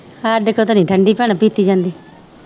ਹਾਡੇ ਕੋ ਤਾ ਨੀ ਠੰਡੀ ਭੈਣਾਂ ਪੀਤੀ ਜਾਂਦੀ